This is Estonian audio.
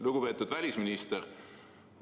Lugupeetud välisminister!